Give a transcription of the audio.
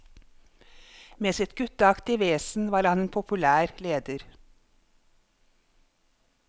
Med sitt gutteaktige vesen var han en populær leder.